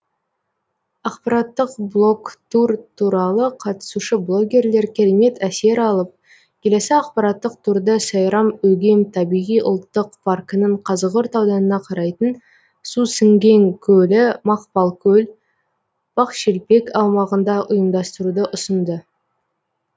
ақпараттық блогтур туралы қатысушы блогерлер керемет әсер алып келесі ақпараттық турды сайрам өгем табиғи ұлттық паркінің қазығұрт ауданына қарайтын сусіңген көлі мақпалкөл бақшелпек аумағында ұйымдастыруды ұсынды